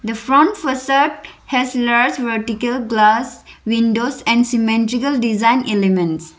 the front foresap has large vertical glass windows and symmetrical design elements.